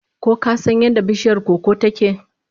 Ko ka san yadda bishiyar koko ta ke?